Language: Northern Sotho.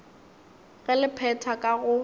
ge le phetha ka go